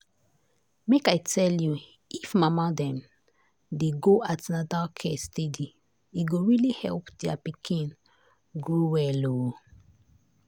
make i tell you if mama dem dey go an ten atal care steady e go really help their pikin grow well oh.